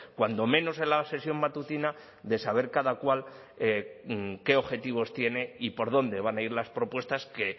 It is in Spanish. cuando menos en la sesión matutina de saber cada cual qué objetivos tiene y por dónde van a ir las propuestas que